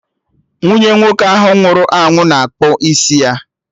Nwunye nwoke ahụ nwụrụ anwụ na-akpụ isi ya